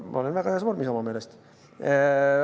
Ma olen väga heas vormis enda meelest.